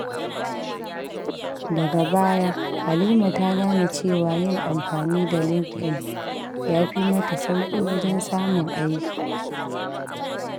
Daga baya, Halima ta gane cewa yin amfani da LinkedIn ya fi mata sauki wajen samun aiki.